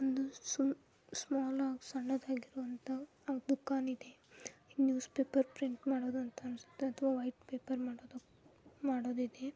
ಒಂದು ಸುಮ್ ಸ್ಮಾಲ್ ಆಗ್ ಸಣ್ಣದಾಗಿರುವಂತ ಅಹ್ ದುಕಾನ್ ಇದೆ. ನ್ಯೂಸ್ ಪೇಪರ್ ಪ್ರಿಂಟ್ ಮಾಡೋದಂತ ಅನ್ಸುತ್ತೆ ಅಥವಾ ವೈಟ್ ಪೇಪರ್ ಮಾಡೋದ್ ಮಾಡೋದೈತಿ.